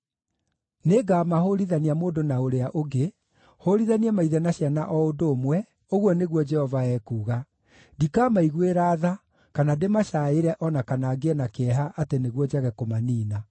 Nĩngamahũũrithania mũndũ na ũrĩa ũngĩ, hũũrithanie maithe na ciana o ũndũ ũmwe, ũguo nĩguo Jehova ekuuga. Ndikamaiguĩra tha, kana ndĩmacaaĩre o na kana ngĩe na kĩeha atĩ nĩguo njage kũmaniina.’ ”